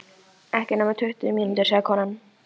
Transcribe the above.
Ekki nema tuttugu mínútur, sagði konan.